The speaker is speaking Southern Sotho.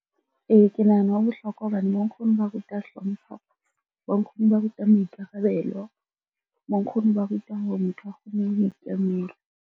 Ee, ke nahana ho bohlokwa hobane bo nkgono ba ruta hlompho, bo nkgono ba ruta maikarabelo, bo nkgono ba ruta hore motho a kgone ho ikemela.